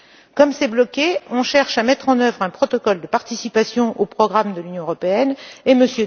Comme le processus est bloqué, on cherche à mettre en œuvre un protocole de participation au programme de l'Union européenne et M.